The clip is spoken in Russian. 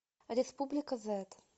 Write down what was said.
республика зет